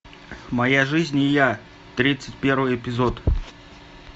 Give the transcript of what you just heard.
моя жизнь и я тридцать первый эпизод